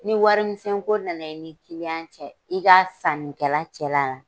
Ni warimisɛn ko nana i ni ka cɛ la, i ka sanikɛla cɛla la